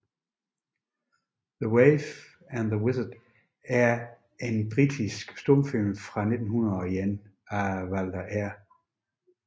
The Waif and the Wizard er en britisk stumfilm fra 1901 af Walter R